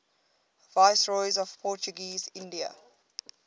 viceroys of portuguese india